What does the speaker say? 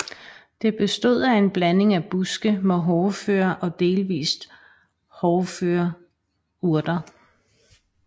Det bestod af en blanding af buske med hårdføre og delvist hårføre urter